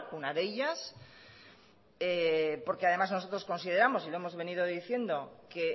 una de ellas porque además nosotros consideramos y lo hemos venido diciendo que